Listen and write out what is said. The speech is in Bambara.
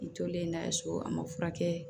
N tolen n'a ye so a ma furakɛ